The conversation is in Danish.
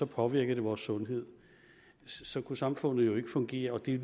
påvirker det vores sundhed så kunne samfundet jo ikke fungere og det er